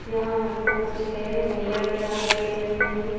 यहाँ हमको छे भैया दिखाई दे रहे हैं।